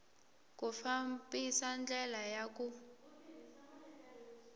ku fambisa ndlela ya ku